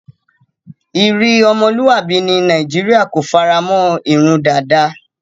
Iri omoluabi ni Nigeria ko faramon irun dada